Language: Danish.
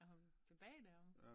Er hun tilbage deromme?